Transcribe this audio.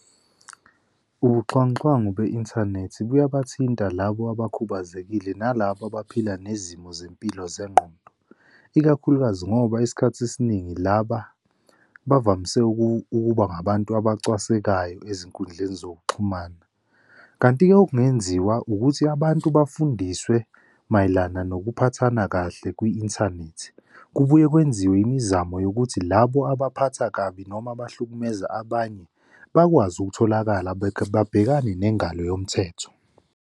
Ubuxhwanguxhwangu be-inthanethi kuyabathinta labo abakhubazekile nalabo abaphila nezimo zempilo zengqondo. Ikakhulukazi ngoba isikhathi esiningi laba bavamise ukuba ngabantu abacwasekayo ezinkundleni zokuxhumana. Kanti-ke okungenziwa ukuthi abantu bafundiswe mayelana nokuphathana kahle kwi-inthanethi kubuye kwenziwe imizamo yokuthi labo abaphatha kabi noma abahlukumeza abanye bakwazi ukutholakala babhekane nengalo yomthetho.